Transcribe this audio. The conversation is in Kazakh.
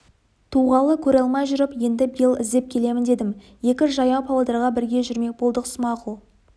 туғалы көре алмай жүріп енді биыл іздеп келемін дедім екі жаяу павлодарға бірге жүрмек болдық смағұл